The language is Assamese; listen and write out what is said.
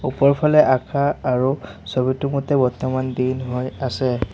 ওপৰফালে আকাশ আৰু ছবিটোৰ মতে বৰ্তমান দিন হৈ আছে।